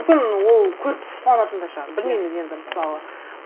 мүмкін ол көріп қуанатын да шығар білмейміз енді мысалы